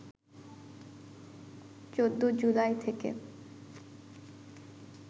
১৪ July থেকে